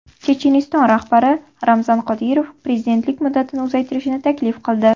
Checheniston rahbari Ramzan Qodirov prezidentlik muddatini uzaytirishni taklif qildi.